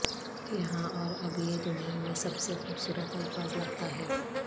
یہاں اور اب یہ دنیا میں سب سے خوبصورت الفاظ لگتا ہے